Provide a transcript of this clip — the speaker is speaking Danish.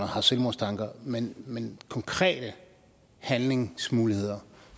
har selvmordstanker men men konkrete handlingsmuligheder